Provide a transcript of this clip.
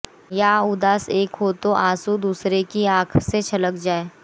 या उदास एक हो तो आँसू दूसरे की आँखों से छलक जाए